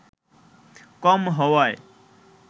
কম হওয়ায়